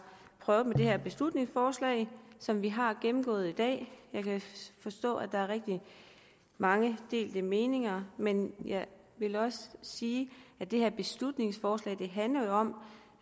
prøvet med det her beslutningsforslag som vi har gennemgået i dag jeg kan forstå at der er rigtig mange delte meninger men jeg vil også sige at det her beslutningsforslag jo handler om